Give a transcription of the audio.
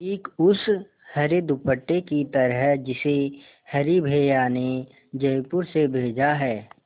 ठीक उस हरे दुपट्टे की तरह जिसे हरी भैया ने जयपुर से भेजा है